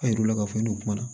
A yir'u la k'a fɔ i n'u kuma na